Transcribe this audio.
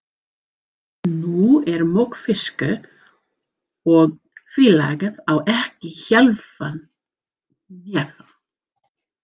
Nú er mokfiskur og félagið á ekki hálfan hnefa.